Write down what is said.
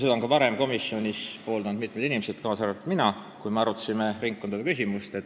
Seda on ka varem komisjonis pooldanud mitmed inimesed, kaasa arvatud mina, kui me arutasime ringkondade küsimust.